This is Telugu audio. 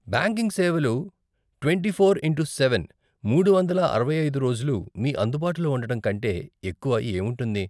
బ్యాంకింగ్ సేవలు ట్వంటీ ఫోర్ ఇంటూ సెవెన్, మూడు వందల అరవై ఐదు రోజులు మీ అందుబాటులో ఉండటం కంటే ఎక్కువ ఏముంటుంది.